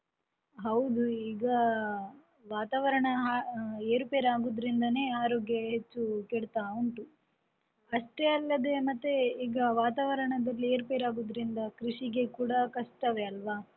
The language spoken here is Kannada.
ಹೌದು, ಈಗ ವಾತಾವರಣ ಏರುಪೇರು ಆಗುದರಿಂದನೇ ಆರೋಗ್ಯ ಹೆಚ್ಚು ಕೆಡ್ತಾ ಉಂಟು ಅಷ್ಟೇ ಅಲ್ಲದೆ ಮತ್ತೆ ಈಗ ವಾತಾವರಣದಲ್ಲಿ ಏರುಪೇರು ಆಗುದರಿಂದ ಕೃಷಿಗೆ ಕೂಡ ಕಷ್ಟವೇ ಅಲ್ವ.